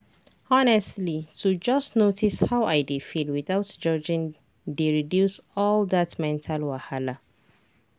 honestly to just notice how i dey feel without judging dey reduce all that mental wahala.